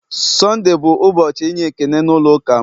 Sonde bụ ụbọchị inye ekele na ulo ụka m